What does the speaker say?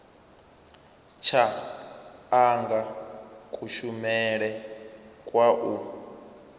tsha anga kushumele kwa u